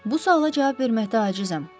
Bu suala cavab verməkdə acizam.